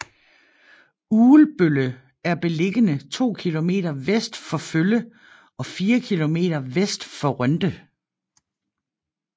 Ugelbølle er beliggende to kilometer vest for Følle og fire kilometer vest for Rønde